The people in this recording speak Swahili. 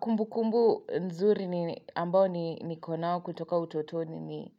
Kumbukumbu nzuri ambao nikonao kutoka utotoni.